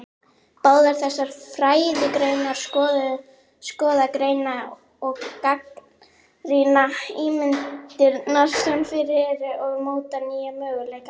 Báðar þessar fræðigreinar skoða, greina og gagnrýna ímyndirnar sem fyrir eru og móta nýja möguleika.